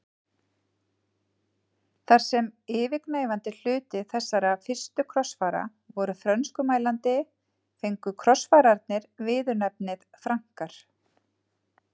Þar sem yfirgnæfandi hluti þessara fyrstu krossfara voru frönskumælandi fengu krossfararnir viðurnefnið Frankar.